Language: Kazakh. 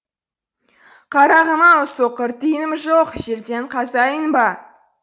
қарағым ау соқыр тиыным жоқ жерден қазайын ба